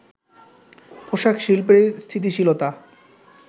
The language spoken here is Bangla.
পোশাক শিল্পের স্থিতিশীলতা